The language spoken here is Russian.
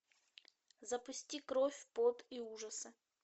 запусти кровь пот и ужасы